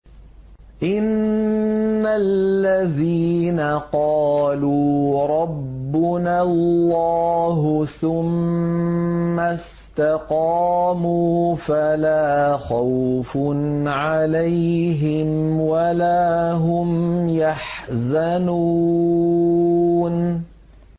إِنَّ الَّذِينَ قَالُوا رَبُّنَا اللَّهُ ثُمَّ اسْتَقَامُوا فَلَا خَوْفٌ عَلَيْهِمْ وَلَا هُمْ يَحْزَنُونَ